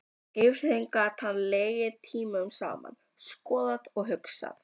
Yfir þeim gat hann legið tímunum saman, skoðað og hugsað.